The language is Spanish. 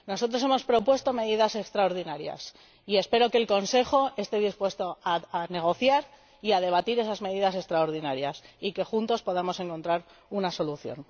Nosotros hemos propuesto medidas extraordinarias y espero que el Consejo esté dispuesto a negociar y a debatir esas medidas extraordinarias y que, juntos, podamos encontrar una solución.